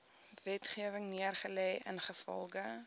wetgewing neergelê ingevolge